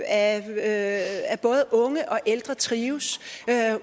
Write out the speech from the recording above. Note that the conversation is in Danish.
at både unge og ældre trives